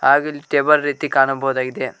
ಹಾಗು ಇಲ್ಲಿ ಟೇಬಲ್ ರೀತಿ ಕಾಣಬೋದಾಗಿದೆ.